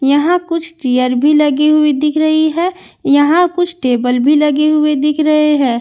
यहां कुछ चेयर भी लगी हुई दिख रही है यहां कुछ टेबल भी लगे हुए दिख रहे हैं।